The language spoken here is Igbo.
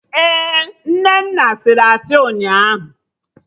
Ee, Nnenna sịrị asị ụnyaahụ